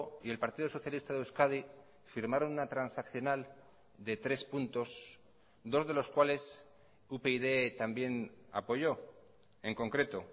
y el partido socialista de euskadi firmaron una transaccional de tres puntos dos de los cuales upyd también apoyó en concreto